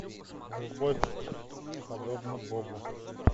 любовь подобна богу